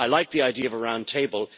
I like the idea of a round table.